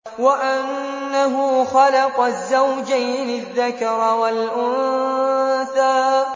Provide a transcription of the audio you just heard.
وَأَنَّهُ خَلَقَ الزَّوْجَيْنِ الذَّكَرَ وَالْأُنثَىٰ